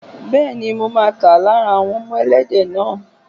Bẹ́ẹ̀ni, mo máa tà lára àwọn ọmọ Ẹlẹ́dẹ̀ náà.